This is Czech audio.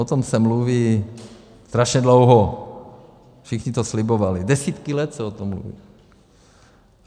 O tom se mluví strašně dlouho, všichni to slibovali, desítky let se o tom mluví.